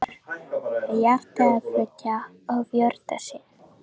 Og svo fór hjartað í þriðja og fjórða sinn.